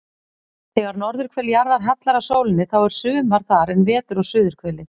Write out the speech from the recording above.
Þegar norðurhvel jarðar hallar að sólinni þá er sumar þar en vetur á suðurhveli.